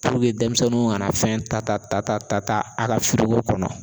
Puruke denmisɛnninw kana fɛn ta ta ta a ka firiko kɔnɔ.